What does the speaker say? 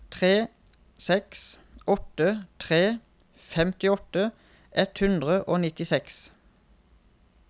tre seks åtte tre femtiåtte ett hundre og nittiseks